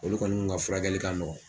Olu kɔni kun ka furakɛli ka nɔgɔn.